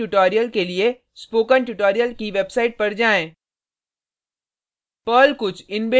कृपया संबंधित ट्यूटोरियल के लिए स्पोकन ट्यूटोरियल की वेबसाइट पर जाएँ